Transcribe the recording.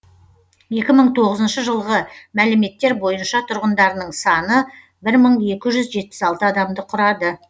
екі мың тоғызыншы жылғы мәліметтер бойынша тұрғындарының саны бір мың екі жүз жетпіс алты адамды құрады